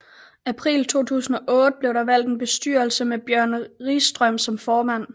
April 2008 blev der valgt en bestyrelse med Bjørn Ringstrøm som formand